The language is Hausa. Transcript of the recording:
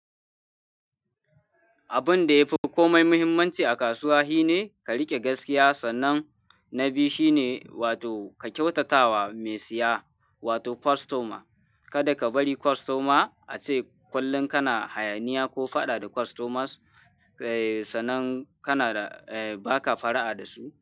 Abun da yafi komai muhimmanci a kasuwa shi ne ka riƙe gaskiya, sannan na biyu shi ne wato ka kyautata wa mai siya wato customer. Kada ka bari customer a ce kullum kana hayaniya ko faɗa da customers, sai sannan kana, eh baka fara'a da su.